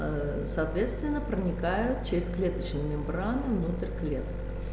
соответственно проникают через клеточную мембрану внутрь клетки